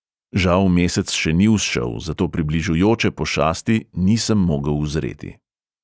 Žal mesec še ni vzšel, zato približujoče pošasti nisem mogel uzreti.